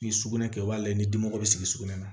Ni sugunɛ kɛ o b'a la ni dimo be sigi sugunɛ na